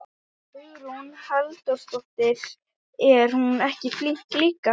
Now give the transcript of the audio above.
Hugrún Halldórsdóttir: Er hún ekki flink líka?